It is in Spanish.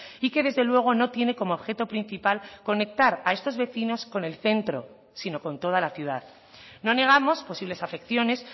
y que desde luego no tiene como objeto principal conectar a estos vecinos con el centro sino con toda la ciudad no negamos posibles afecciones